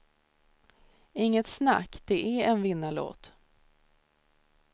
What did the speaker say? Inget snack, det är en vinnarlåt.